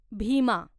Bhima